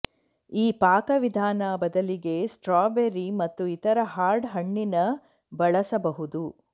ಈ ಪಾಕವಿಧಾನ ಬದಲಿಗೆ ಸ್ಟ್ರಾಬೆರಿ ಮತ್ತು ಇತರ ಹಾರ್ಡ್ ಹಣ್ಣಿನ ಬಳಸಬಹುದು